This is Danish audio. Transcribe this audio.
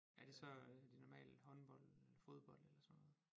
Er det så er det normalt håndbold fodbold eller sådan noget